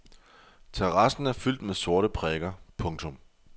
Terrassen er fyldt med sorte prikker. punktum